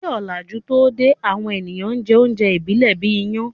Kí òlàjú tó dé, àwọn èèyàn n jẹ oúnjẹ ìbílẹ̀ bíi iyán